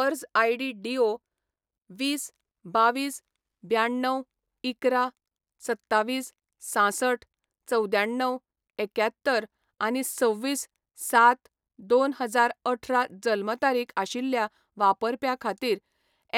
अर्ज आयडी डीओ वीस, बावीस, ब्याण्णव, इकरा, सत्तावीस, सांसठ, चवद्याण्णव, एक्यात्तर आनी सव्वीस सात दोन हजार अठरा जल्म तारीख आशिल्ल्या वापरप्या खातीर